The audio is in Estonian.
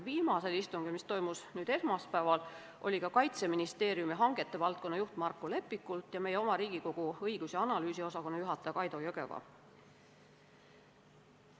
Viimasel istungil, mis toimus selle nädala esmaspäeval, olid kohal ka Kaitseministeeriumi hangete valdkonna juht Markko Lepikult ja meie oma Riigikogu Kantselei õigus- ja analüüsiosakonna juhataja Kaido Jõgeva.